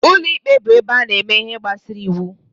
Ụlọ ikpe bụ ebe a na-eme ihe gbasara iwu.